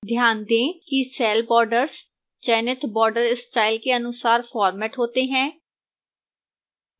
ध्यान दें कि cell borders चयनित border style के अनुसार formatted होते हैं